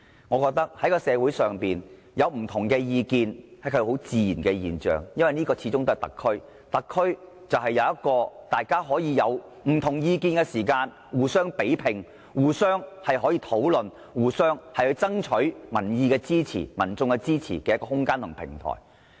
我認為社會上有不同意見是很自然的現象，因為這裏始終是特區，而特區應容許大家在出現意見分歧時有一個可以互相比拼、討論和爭取民意支持的空間和平台。